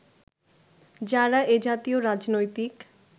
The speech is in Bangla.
যারা এ জাতীয় রাজনৈতিক